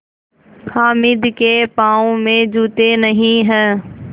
हामिद के पाँव में जूते नहीं हैं